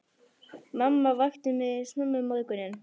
Mamma vakti mig snemma um morguninn.